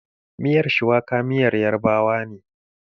Miyan shuwaka miyar yarbawa ne.